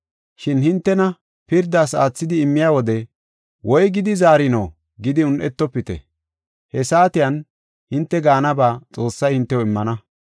Shin hintena pirdas aathidi immiya wode, woygidi zaarino gidi un7etofite; he saatiyan hinte gaanaba Xoossay hintew immana.